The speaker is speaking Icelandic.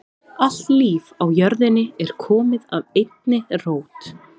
Allt líf á jörðinni er komið af einni rót.